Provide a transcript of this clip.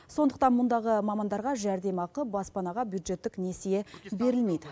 сондықтан мұндағы мамандарға жәрдемақы баспанаға бюджеттік несие берілмейді